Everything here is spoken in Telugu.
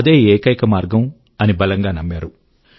అదే ఏకైక మార్గం అని బలంగా నమ్మారు